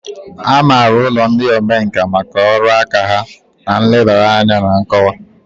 A maara ụlọ ndị omenkà maka ọrụ aka ha na nlebara anya na nkọwa.